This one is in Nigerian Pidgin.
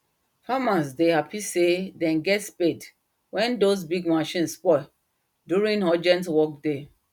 farmers dey happy say them get spade wen those big machine spoil during urgent work day